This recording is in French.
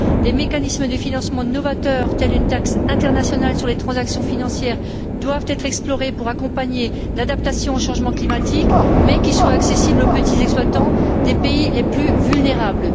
Des mécanismes de financement novateurs, tels une taxe internationale sur les transactions financières, doivent être explorés pour accompagner l'adaptation au changement climatique, tout en étant accessibles aux petits exploitants des pays les plus vulnérables.